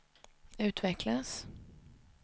utvecklas